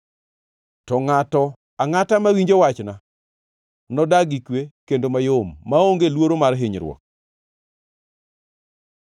To ngʼato angʼata mawinjo wachna nodag gi kwe kendo mayom, maonge luoro mar hinyruok.